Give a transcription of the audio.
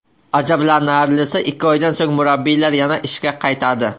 Ajablanarlisi, ikki oydan so‘ng murabbiylar yana ishga qaytadi.